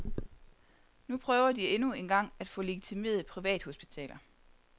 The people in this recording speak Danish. Nu prøver de endnu en gang at få legitimeret privathospitaler.